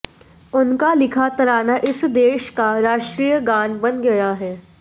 उनका लिखा तराना इस देश का राष्ट्रीय गान बन गया है